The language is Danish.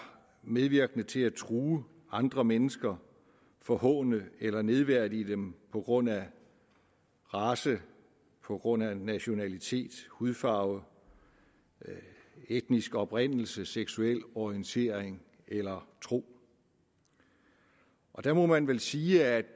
medvirkende til at true andre mennesker forhåne eller nedværdige dem på grund af race på grund af nationalitet hudfarve etnisk oprindelse seksuel orientering eller tro der må man vel sige at